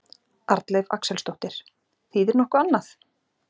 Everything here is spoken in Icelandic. Arnleif Axelsdóttir: Þýðir nokkuð annað?